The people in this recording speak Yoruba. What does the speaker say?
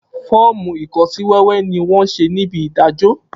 Foomu ikosiwewe ni wón se ní ibi idajo